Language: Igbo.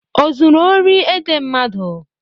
O zuru ori ede mmadụ?